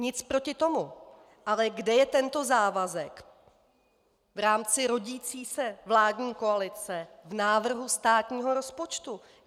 Nic proti tomu, ale kde je tento závazek v rámci rodící se vládní koalice v návrhu státního rozpočtu?